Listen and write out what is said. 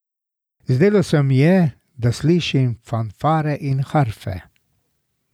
Zdelo se mi je, da slišim fanfare in harfe.